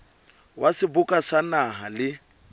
wa seboka sa naha le